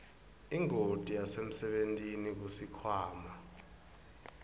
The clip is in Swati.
ingoti yasemsebentini kusikhwama